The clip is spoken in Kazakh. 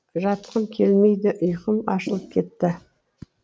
жатқым келмейді ұйқым ашылып кетті